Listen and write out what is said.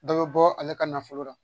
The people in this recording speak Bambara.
Dɔ bɛ bɔ ale ka nafolo la